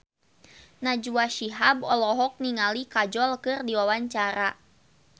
Najwa Shihab olohok ningali Kajol keur diwawancara